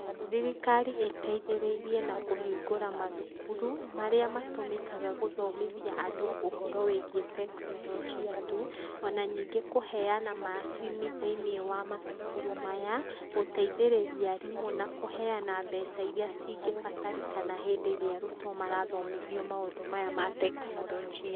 Thirikari ĩteithĩrĩirie na kũhigũra mathukuru ,marĩa matũmĩkaga gũthomithia andũ ũhoro wĩgĩe teknorojia, tu ona ningĩ kũheana macini thĩinĩ wa mathukuru, maya gũteithĩrĩrĩa arimũ ,na kũheana mbeca irĩa cingĩbataranĩka hĩndĩ ĩrĩa arutwo marathomithio maũndũ maya ma teknorojia.